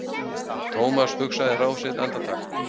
Thomas hugsaði ráð sitt andartak.